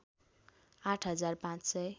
आठ हजार पाँच सय